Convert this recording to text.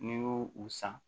N'i y'u u san